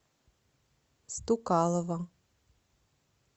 стукалова